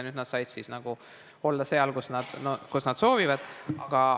Nüüd nad saavad siis olla seal, kus nad soovivad.